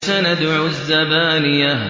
سَنَدْعُ الزَّبَانِيَةَ